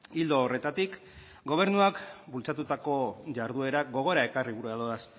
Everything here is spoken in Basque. ildo horretatik gobernuak bultzatutako jarduerak gogora ekarri gura ditu